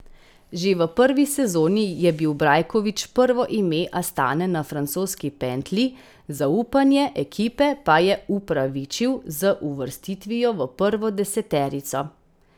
Že v prvi sezoni je bil Brajkovič prvo ime Astane na francoski pentlji, zaupanje ekipe pa je upravičil z uvrstitvijo v prvo deseterico.